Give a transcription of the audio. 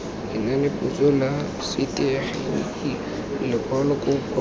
lenanepotso la setegeniki lekwalo kopo